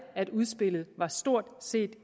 at udspillet stort set